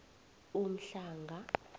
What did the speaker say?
umhlanga